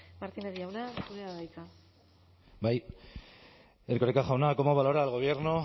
martínez jauna zurea da hitza bai erkoreka jauna cómo valora el gobierno